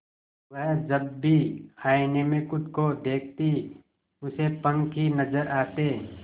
वह जब भी आईने में खुद को देखती उसे पंख ही नजर आते